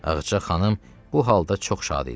Ağacə xanım bu halda çox şad idi.